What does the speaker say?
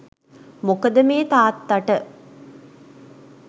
මොකද මේ තාත්තට